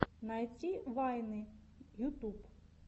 найти вайны ютуб